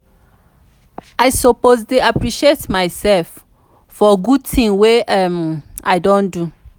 i suppose dey appreciate myself for good things wey um i don do.